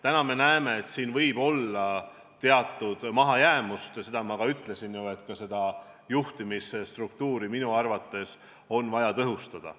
Täna me näeme, et siin võib olla teatud mahajäämust, ja ma ütlesin ju ka, et juhtimisstruktuuri on minu arvates vaja tõhustada.